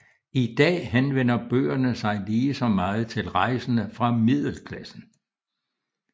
I dag henvender bøgerne sig lige så meget til rejsende fra middelklassen